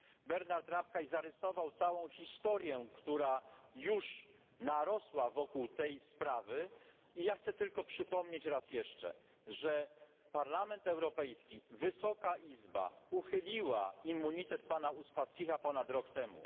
Bernhard Rapkay zarysował całą historię, która już narosła wokół tej sprawy, ja chcę tylko przypomnieć raz jeszcze, że Parlament Europejski uchylił immunitet pana Uspaskicha ponad rok temu.